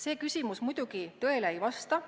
" Selles küsimuses kirjeldatu muidugi tõele ei vasta.